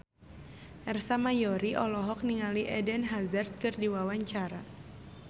Ersa Mayori olohok ningali Eden Hazard keur diwawancara